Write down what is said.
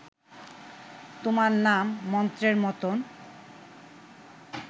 তোমার নাম মন্ত্রের মতন